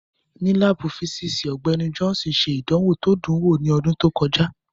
Nínú láàbù físíìsì, Ọgbẹ́ni Johnson ṣe ìdánwò tó dùn wò ní ọdún tó kọjá